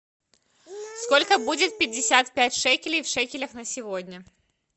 сколько будет пятьдесят пять шекелей в шекелях на сегодня